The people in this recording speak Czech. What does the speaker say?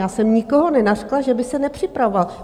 Já jsem nikoho nenařkla, že by se nepřipravoval.